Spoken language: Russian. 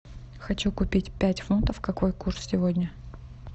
хочу купить пять фунтов какой курс сегодня